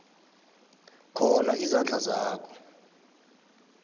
khona izandla zakho